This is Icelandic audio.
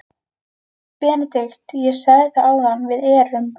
BENEDIKT: Ég sagði það áðan: Við erum.